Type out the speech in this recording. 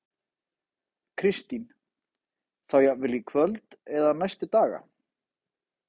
Kristín: Þá jafnvel í kvöld eða næstu daga?